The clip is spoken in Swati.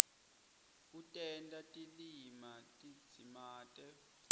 kutenta tilima tidzimate